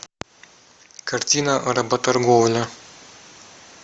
картина работорговля